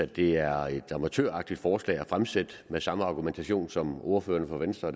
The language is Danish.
det er et amatøragtigt forslag at fremsætte med samme argumentation som ordførerne for venstre